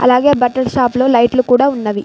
అలాగే బట్టల షాప్ లో లైట్లు కూడా ఉన్నవి.